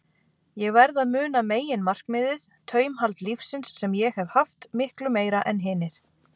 Ég verð að muna meginmarkmiðið: taumhald lífsins, sem ég hef haft, miklu meira en hinir.